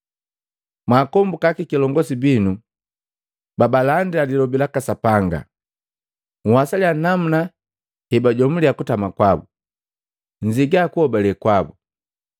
Mwaakombuka akakilongosi binu babaalandila lilobi laka Sapanga. Nhwasalya namuna hebajomulia kutama kwabu, nnzia kuhobale kwabu.